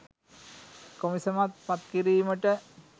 කොමිසමක් පත් කිරීමට